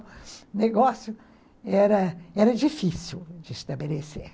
O negócio era era difícil de estabelecer.